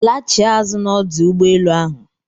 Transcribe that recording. Lachie azụ na ọdụ ụgbọ enu ahụ!